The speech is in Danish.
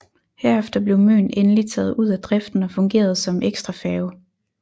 Herefter blev Møn endelig taget ud af driften og fungerede som ekstrafærge